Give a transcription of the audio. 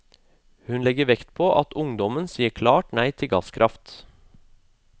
Hun legger vekt på at ungdommen sier et klart nei til gasskraft.